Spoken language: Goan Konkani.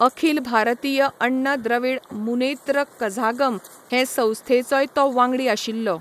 अखिल भारतीय अण्ण द्रविड़ मुनेत्र कझागम हे संस्थेचोय तो वांगडी आशिल्लो.